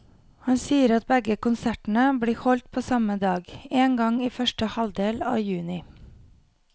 Han sier at begge konsertene blir holdt på samme dag, en gang i første halvdel av juni.